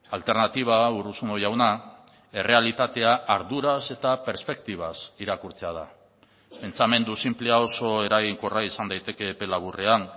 alternatiba urruzuno jauna errealitatea arduraz eta perspektibaz irakurtzea da pentsamendu sinplea oso eraginkorra izan daiteke epe laburrean